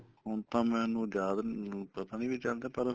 ਹੁਣ ਤਾਂ ਮੈਨੂੰ ਯਾਦ ਨੀ ਪਤਾ ਨੀ ਵੀ ਚੱਲਦੇ ਪਰ